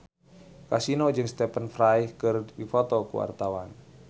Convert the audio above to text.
Kasino jeung Stephen Fry keur dipoto ku wartawan